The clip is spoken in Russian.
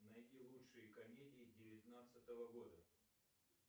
найди лучшие комедии девятнадцатого года